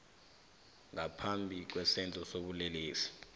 ngaphambi kwesenzo sobulelesi